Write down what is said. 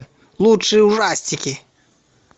лучшие ужастики